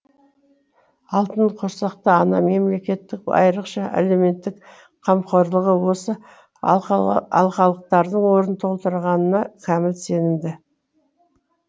алтын құрсақты ана мемлекеттік айрықша әлеуметтік қамқорлығы осы алқалықтардың орнын толтырғанға кәміл сенімді